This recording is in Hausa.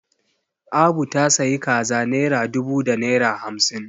Abu ta sayi kaza naira dubu da naira hamsin